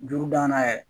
Duuru danna yɛrɛ